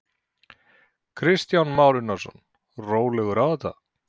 Kristján Már Unnarsson: Rólega á þetta?